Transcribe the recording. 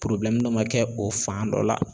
ma kɛ o fan dɔ la